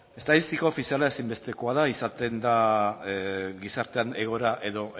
estatistika ofiziala ezinbestekoa da izaten da gizartean egoera edo